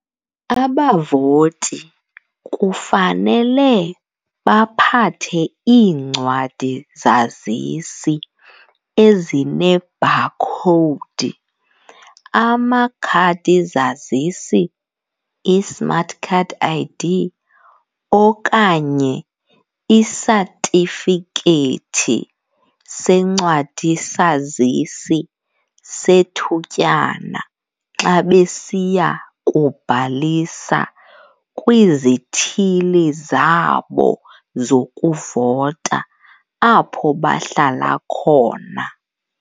Abavoti kufanele baphathe iincwadi-zazisi ezinebhakhowudi, amakhadi-zazisi, i-smart card ID, okanye isatifikethi sencwadi-sazisi sethutyana xa besiya kubhalisa kwizithili zabo zokuvota apho bahlala khona.